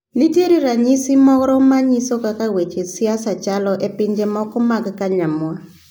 Nitie ranyisi moro manyiso kaka weche siasa chalo e pinje mamoko magkanyamwa.